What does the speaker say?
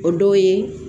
O dɔw ye